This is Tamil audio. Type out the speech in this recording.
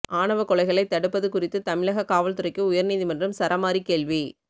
ஆணவக் கொலைகளை தடுப்பது குறித்து தமிழக காவல்துறைக்கு உயர்நீதிமன்றம் சரமாரி கேள்வி